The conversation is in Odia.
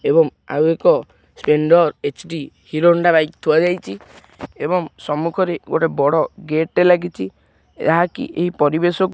ଏବଂ ଆଉ ଏକ ସ୍ପେଣ୍ଡର୍ ଏଚ୍_ଡି ହିରୋହୋଣ୍ଡା ବାଇକ୍ ଥୁଆ ଯାଇଚି ଏବଂ ସମ୍ମୁଖରେ ଗୋଟେ ବଡ଼ ଗେଟ୍ ଟେ ଲାଗିଚି। ଏହାକି ଏଇ ପରିବେଶକୁ --